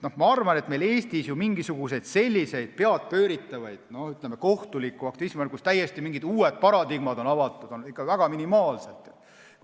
Ma arvan, et Eestis mingisuguseid peadpööritavaid kohtuliku aktivismi juhtumeid, kus on täiesti uued paradigmad avatud, on ikka minimaalselt.